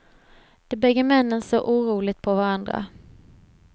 De bägge männen såg oroligt på varandra.